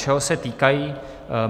Čeho se týkají?